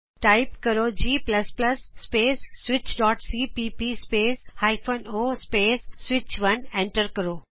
type ਕਰੋ g space switchਸੀਪੀਪੀ space hyphen o space ਸਵਿਚ1 ਐਂਟਰ ਦਬਾਉ